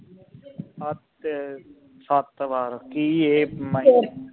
ਸੱਤ ਵਾਰ ਕੀ ਇਹ